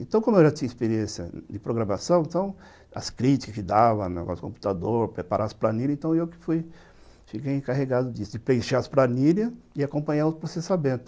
Então, como eu já tinha experiência de programação, então as críticas que dava, negócio de computador, preparar as planilhas, então eu que fui, fiquei encarregado disso, de preencher as planilhas e acompanhar o processamento.